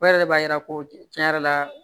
O yɛrɛ de b'a yira ko cɛn yɛrɛ la